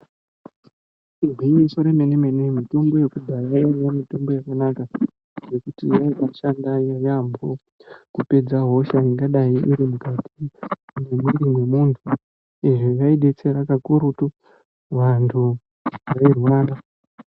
Igwinyiso remenemene mitombo yekudhaya yaiya mitombo yakanaka ngekuti yaibashanda yamho kupedza hosha ingadai iri mukati mwemwiri wemuntu izvi zvaidetsera kakurutu vantu veirwara .